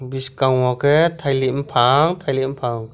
bwskango khe tailik pufang tailik bufang.